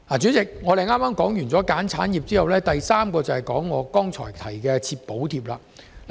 主席，說罷"選產業"，接下來便要討論我剛才提及的"設補貼"。